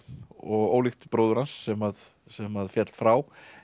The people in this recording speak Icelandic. og ólíkt bróður hans sem sem að féll frá